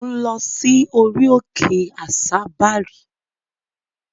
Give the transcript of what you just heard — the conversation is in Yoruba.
Mò ń lọ sí orí òkè àsabàrí.